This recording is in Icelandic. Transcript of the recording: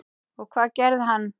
Og hvað gerði hann?